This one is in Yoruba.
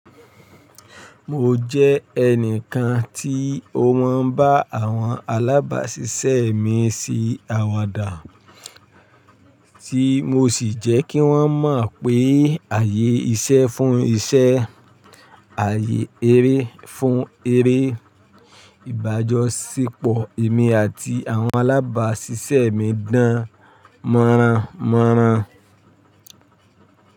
Mo jẹ́ ẹnìkan tí ó máa ń bá àwọn alábáṣiṣẹ́ mi ṣe àwàdà, tí mo sì jẹ́ kí wọ́n mọ̀ pé ààyè iṣẹ́ fún iṣẹ́, ààyè eré fún eré. Ìbájọ́ sepọ̀ èmi àti àwọn alábáṣiṣẹ́ mi dán mọ́ranmọ́ran.